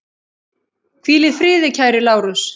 Hvíl í friði kæri Lárus.